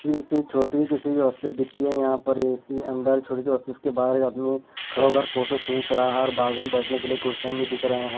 किसी छोटी किसी की ऑफिस दिखती है यहां पर ए_सी अंदर छोटी सी ऑफिस के बाहर एक आदमी खड़ा होकर फोटो खींच रहा है और बाज़ू में बैठने के लिए कुर्सियां भी दिख रहे हैं।